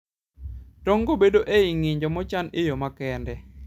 Tong'go bedo ei ng'injo mochan e yo makende.